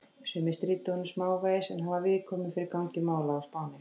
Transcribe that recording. Sumir stríddu honum smávegis, en hann var viðkvæmur fyrir gangi mála á Spáni.